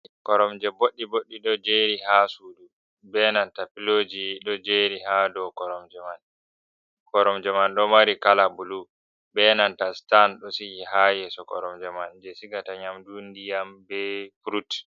Koromje boɗɗi-boɗɗei ɗo jeri haa sudu be nanta piloji ɗo jeri haa dou koromje man. Koromje man ɗo mari kala bulu, be nanta stan ɗo sigi haa yeso koromje man, jei sigata nyamdu, ndiyam be frut.